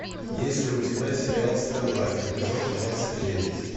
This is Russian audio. есть ли у тебя сериал стрела эпизод двадцать девять